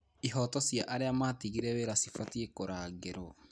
Ihooto cia arĩa matigire wĩra cibatiĩ kũrangĩrwo.